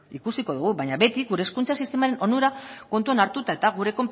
bbaina beti gure hezkuntza sistemaren onura kontutan hartuta eta gure